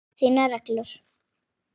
Þínar reglur?